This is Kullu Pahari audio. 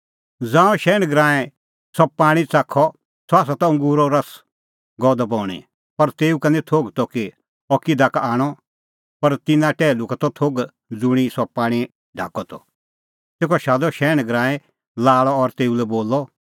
ज़ांऊं शैहण गरांईं सह पाणीं च़ाखअ सह त अंगूरो रस गअ द बणीं पर तेऊ का निं थोघ त कि अह किधा का आणअ पर तिन्नां टैहलू का त थोघ ज़ुंणी सह पाणीं काढअ त तेखअ शादअ शैहण गरांईं लाल़अ और तेऊ लै बोलअ